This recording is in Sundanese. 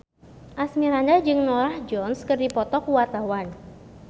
Asmirandah jeung Norah Jones keur dipoto ku wartawan